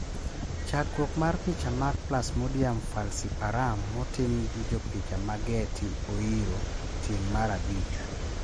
Chakruok mar picha mag plasmodium falciparum motim gi jopicha ma Getty oyiro tieng' mar rh abich.